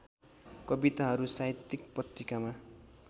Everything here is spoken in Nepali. कविताहरू साहित्यिक पत्रिकामा